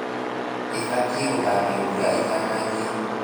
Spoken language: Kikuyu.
ĩbaitie gũthamio mbura ĩtanajia.